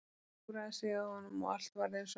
Hún hjúfraði sig að honum og allt varð eins og áður.